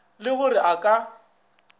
le go re a ka